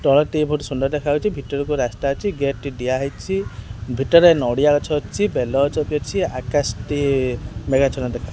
ତଳଟି ବହୁତ୍ ସୁନ୍ଦର୍ ଦେଖା ଯାଉଛି ଭିତରାକୁ ରାସ୍ତା ଅଛି ଗେଟ୍ ଟି ଦିଆହେଇଛି ଏଠାରେ ନଡିଆ ଗଛ ଅଛି ବେଲା ଗଛ ବି ଅଛି ଆକାଶ ଟି ମେଘାଚ୍ଛନ୍ନ ଦେଖା ଯାଉଛି।